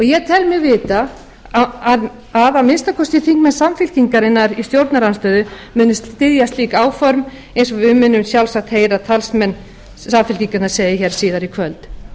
ég tel mig vita að að minnsta kosti þingmenn sem í stjórnarandstöðu muni styðja slík áform eins og við munum sjálfsagt heyra talsmenn sem segja hér síðar í kvöld